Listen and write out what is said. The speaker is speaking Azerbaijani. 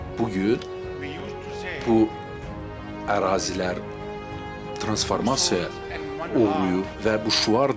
bu gün bu ərazilər transformasiya olub və bu şüar dəyişib.